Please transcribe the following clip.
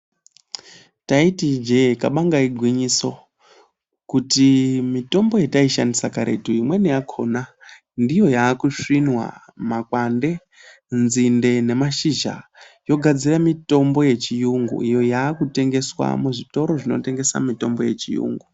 Taiti ijee kabanga igwinyiso, kutii mitombo yataishandisa karetu, imweni yakhona ndiyo yaakusvinwa makwande, nzinde nemashizha, yogadzira mitombo yechiyungu iyo yaakutengeswa muzvitoro zvinotengesa mitombo yechiyungu.